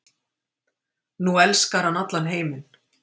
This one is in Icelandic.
Nú elskar hann allan heiminn.